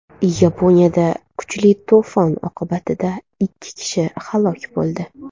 Yaponiyada kuchli to‘fon oqibatida ikki kishi halok bo‘ldi.